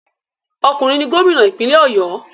Okunrin ni gomina ipinle Oyo